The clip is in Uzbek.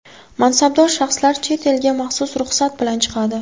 Mansabdor shaxslar chet elga maxsus ruxsat bilan chiqadi.